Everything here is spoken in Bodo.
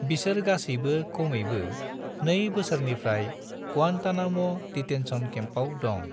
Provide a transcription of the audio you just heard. बिसोर गासैबो कमैबो नै बोसोरनिफ्राय ग्वांतानाम' डिटेन्शन केम्पआव दं।